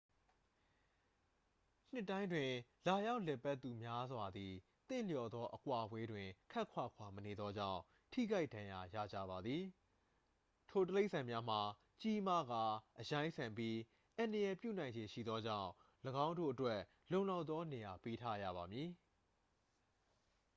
နှစ်တိုင်းတွင် လာရောက်လည်ပတ်သူများစွာသည် သင့်လျော်သောအကွာအဝေးတွင် ခပ်ခွာခွာမနေသောကြောင့် ထိခိုက်ဒဏ်ရာရကြပါသည် ထိုတိရစ္ဆာန်များမှာ ကြီးမားကာ အရိုင်းဆန်ပြီး အန္တရာယ်ပြုနိုင်ခြေရှိသောကြောင့် ၎င်းတို့အတွက် လုံလောက်သောနေရာပေးထားရပါမည်